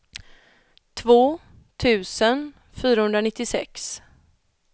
två tusen fyrahundranittiosex